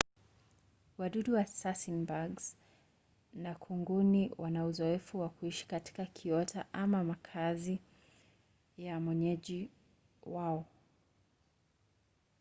wadudu assasin-bugs na kunguni wana uzoefu wa kuishi katika kiota ama makazi ya mwenyeji wao